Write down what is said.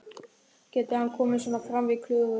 Getur hann komið svona fram við Klöru?